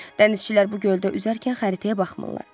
Dənizçilər bu göldə üzərkən xəritəyə baxmırlar.